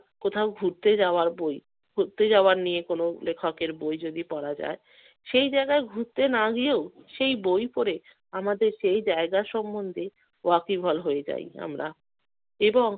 কোথাও ঘুরতে যাওয়ার বই। ঘুরতে যাওয়া নিয়ে কোনো লেখকের বই যদি পড়া যায়, সেই জায়গায় ঘুরতে না গিয়েও সেই বই পড়ে আমাদের সেই জায়গা সম্বন্ধে ওয়াকিবহাল হয়ে যাই আমরা এবং